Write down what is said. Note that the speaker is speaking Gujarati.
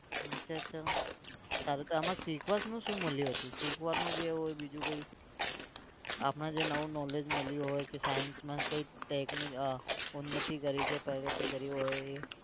અચ્છા અચ્છા સારું તો આમાં શીખવાનું શું મળ્યું હતું? શીખવાનું જે હોય બીજું કઈ આપણે જે નવું knowledge મળ્યું હોય કે science માં કઈક technique આહ ઉન્નતી કરી છે પ્રગતિ કરી હોય એ.